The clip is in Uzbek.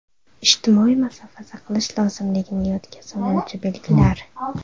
Ijtimoiy masofa saqlash lozimligini yodga soluvchi belgilar.